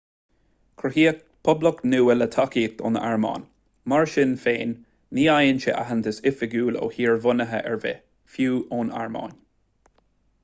cruthaíodh poblacht nua le tacaíocht ón airméin mar sin féin ní fhaigheann sé aitheantas oifigiúil ó thír bhunaithe ar bith fiú ón airméin